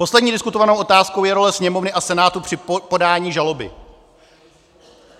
Poslední diskutovanou otázkou je role Sněmovny a Senátu při podání žaloby.